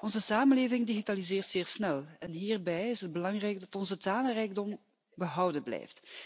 Onze samenleving digitaliseert zeer snel en hierbij is het belangrijk dat onze talenrijkdom behouden blijft.